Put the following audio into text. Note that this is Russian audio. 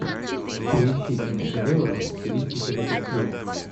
поищи киношедевры в стилистике детектива